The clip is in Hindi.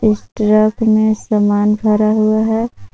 इस ट्रक में सामान भरा हुआ है।